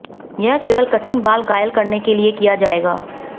यह केवल कठिन बाल घायल करने के लिए किया जाएगा